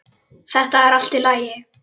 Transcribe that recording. Þetta er allt í lagi.